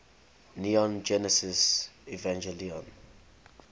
neon genesis evangelion